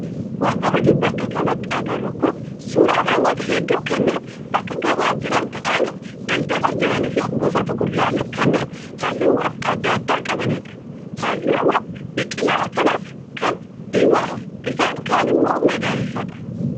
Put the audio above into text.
Wanti nuti bakka kanatti agarru kun suuraa namoota hedduu kanneen bakka gabaa jiran taa'anii daldalaa jiranii fi gosoota kuduraalee kanneen halluuwwan adda addaa qabanidha. Halluun biqilaa kanaas kaan diimaa isaan kaan immoo magariisaadha.